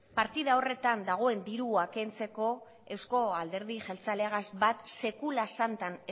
partida horretan dagoen dirua kentzeko euzko alderdi jeltzalegaz bat sekula santan